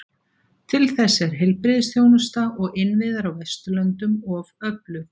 Til þess er heilbrigðisþjónusta og innviðir á Vesturlöndum of öflug.